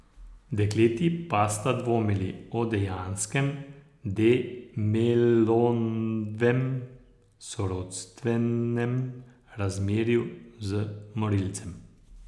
Dekleti pa sta dvomili o dejanskem De Melovem sorodstvenem razmerju z morilcem.